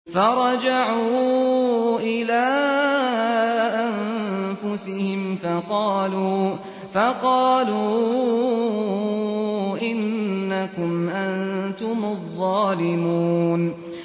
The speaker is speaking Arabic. فَرَجَعُوا إِلَىٰ أَنفُسِهِمْ فَقَالُوا إِنَّكُمْ أَنتُمُ الظَّالِمُونَ